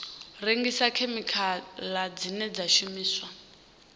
rengisa khemikhala dzine dza shumiswa